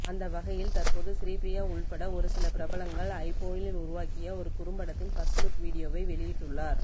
அந்த வகையில் தற்போது ஸ்ரீப்ரியா உள்பட ஒருசில பிரபலங்கள் ஐபோனில் உருவாக்கிய ஒரு குறும்படத்தின் பர்ஸ்ட் லுக் வீடியோவை வெளியிட்டுள்ளார்